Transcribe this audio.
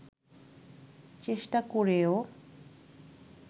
চেষ্টা করেও